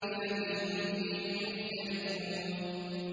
الَّذِي هُمْ فِيهِ مُخْتَلِفُونَ